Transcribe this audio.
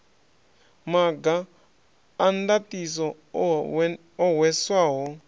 maga a ndaṱiso o hweswaho